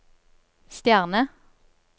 stjerne